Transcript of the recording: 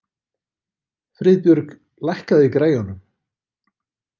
Friðbjörg, lækkaðu í græjunum.